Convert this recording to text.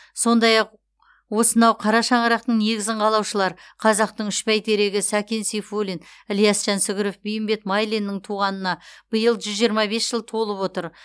сондай ақ осынау қара шаңырақтың негізін қалаушылар қазақтың үш бәйтерегі сәкен сейфуллин ілияс жансүгіров бейімбет майлиннің туғанына биыл жүз жиырма бес жыл толып отыр